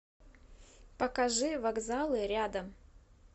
покажи вокзалы рядом